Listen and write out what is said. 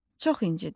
Çox incdim.